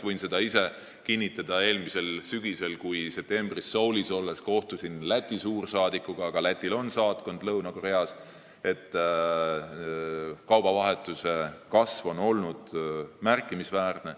Kohtusin eelmisel sügisel Soulis olles Läti suursaadikuga ja võin kinnitada, et kaubavahetuse kasv on olnud märkimisväärne.